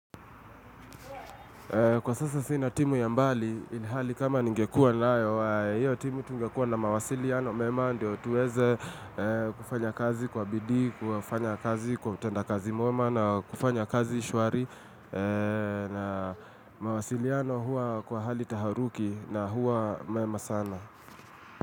Kwa sasa sina timu ya mbali, ilihali kama ningekuwa nayo, hiyo timu tungekuwa na mawasiliano mema ndio tuweze kufanya kazi kwa bidii, kufanya kazi kwa utenda kazi mwema na kufanya kazi shwari na mawasiliano huwa kwa hali taharuki na huwa mema sana.